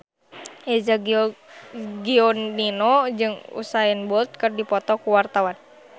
Eza Gionino jeung Usain Bolt keur dipoto ku wartawan